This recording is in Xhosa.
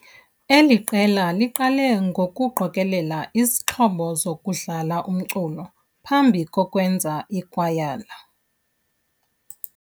Eli qela liqale ngokuqokelea izixhobo zokudlala umculo phambi kokwenza ikwayala.